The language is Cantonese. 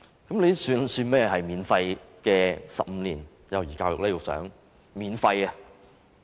局長，這算甚麼免費幼兒教育呢？